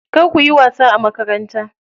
Kar kuyi wasa a makaranta.